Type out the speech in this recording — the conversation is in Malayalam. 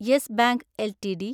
yes Bank LTD